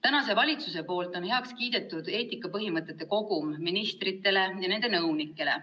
Ametisolev valitsus on heaks kiitnud eetikapõhimõtete kogumi ministritele ja nende nõunikele.